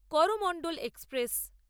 Coromandel express